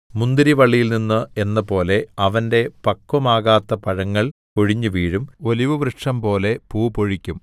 മുന്തിരിവള്ളിയിൽ നിന്ന് എന്നപോലെ അവന്റെ പക്വമാകാത്ത പഴങ്ങൾ കൊഴിഞ്ഞുവീഴും ഒലിവുവൃക്ഷംപോലെ പൂ പൊഴിക്കും